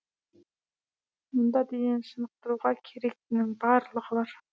мұнда денені шынықтыруға керектінің барлығы бар